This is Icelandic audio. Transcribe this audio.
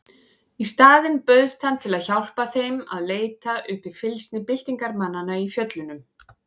Í staðinn bauðst hann til að hjálpa þeim að leita uppi fylgsni byltingarmanna í fjöllunum.